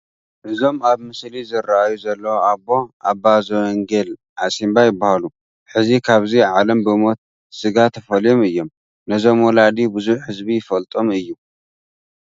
እዞም ኣብ ምስሊ ዝርአዩ ዘለዉ ኣቦ ኣባ ዘወንጌል ዓሲምባ ይበሃሉ፡፡ ሕዚ ካብዚ ዓለም ብሞተ ስጋ ተፈልዮም እዮም፡፡ ነዞም ወላዲ ብዙሕ ህዝቢ ይፈልጦም እዩ፡፡